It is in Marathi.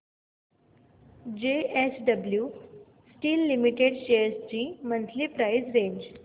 जेएसडब्ल्यु स्टील लिमिटेड शेअर्स ची मंथली प्राइस रेंज